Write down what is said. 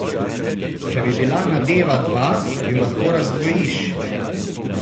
Če bi bila nadeva dva, ju lahko razdvojiš.